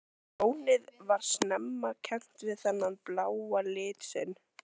Lónið var snemma kennt við þennan bláa lit sinn.